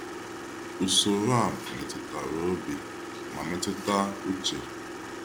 Usoro a metụtara obi ma metụta uche.